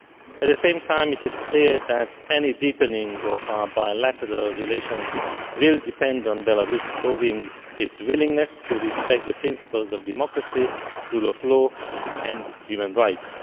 At the same time, it is clear that any deepening of our bilateral relations will depend on Belarus proving its willingness to respect the principles of democracy, the rule of law and human rights.